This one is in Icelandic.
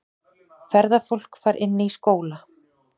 Ferðafólk fær inni í skóla